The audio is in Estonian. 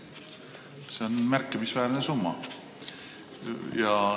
See on märkimisväärne summa.